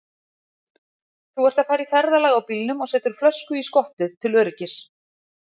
Þú ert að fara í ferðalag á bílnum og setur flösku í skottið til öryggis.